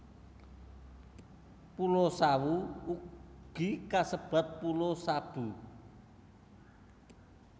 Pulo Sawu ugi kasebat Pulo Sabu